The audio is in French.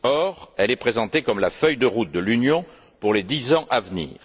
Or, elle est présentée comme la feuille de route de l'Union pour les dix ans à venir.